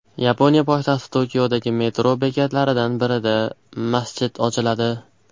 Yaponiya poytaxti Tokiodagi metro bekatlaridan birida masjid ochiladi.